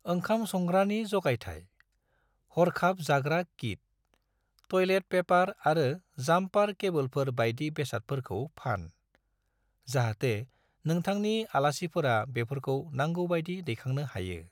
ओंखाम संग्रानि जगायथाय, हरखाब जाग्रा किट, टयलेट पेपार आरो जाम्पार केबोलफोर बायदि बेसादफोरखौ फान, जाहाथे नोंथांनि आलासिफोरा बेफोरखौ नांगौ बायदि दैखांनो हायो।